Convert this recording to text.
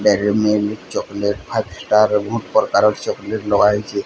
ଗାଡ଼ିରେ maybe chocolate five star ବୋହୁତ୍ ପ୍ରକାର୍ ଚକ୍ଲେଟ୍ ଡବାହଇଚେ।